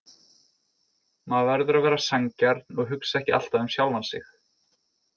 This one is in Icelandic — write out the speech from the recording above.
Maður verður að vera sanngjarn og hugsa ekki alltaf um sjálfan sig.